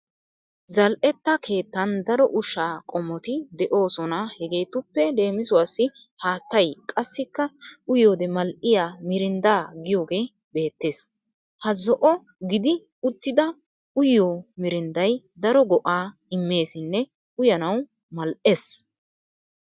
Zal'etta keettan daro ushshaa qommoti de'oosona hegeetuppe leemisuwassi haattay qassikka uyiyoode mal'iya mirinddaa giyogee beettes. Ha zo'o gidi uttida uyiyo mirnddaay daro go'aa immeessinne uyanawu mal'es.